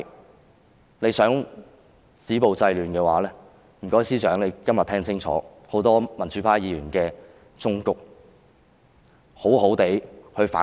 政府如果想止暴制亂，麻煩司長今天聽清楚多位民主派議員的忠告，好好地反省。